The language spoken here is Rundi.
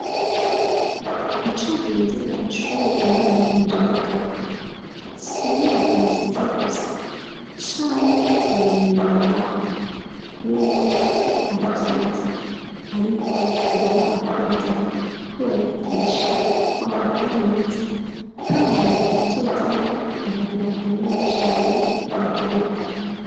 Ico nkundira ishure umwana wanje yiga ko s'inyubako nziza gusa chanke ubumenyi babaha n'ubwo navyo ari vyiza ariko ndanabakundira ko babigisha kwambara neza nk'abantu bazovamwo abantu bakomeye cane mu gihugu.